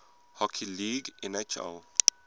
hockey league nhl